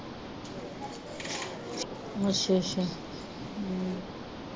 ਅੱਛਾ ਅੱਛਾ